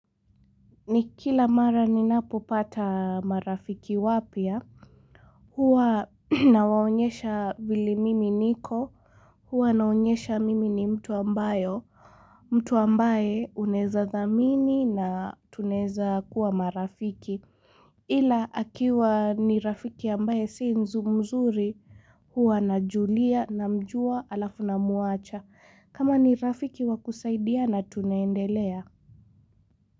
Ni kila mara ninapopata marafiki wapya huwa nawaonyesha vile mimi niko huwa naonyesha mimi ni mtu ambaye unaweza dhamini na tunaweza kuwa marafiki Ila akiwa ni rafiki ambaye si mzuri huwa najulia namjua alafu namuacha kama ni rafiki wakusaidiana tunaendelea.